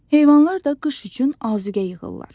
Heyvanlar da qış üçün azuqə yığırlar.